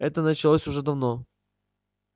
это началось уже давно